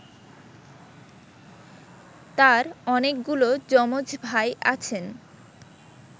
তাঁর অনেকগুলো যমজ ভাই আছেন